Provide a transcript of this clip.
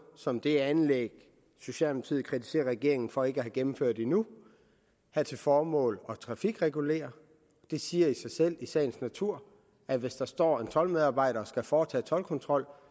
som det anlæg socialdemokratiet kritiserer regeringen for ikke at have gennemført endnu have til formål at trafikregulere det siger jo sig selv i sagens natur at hvis der står en toldmedarbejder og skal foretage toldkontrol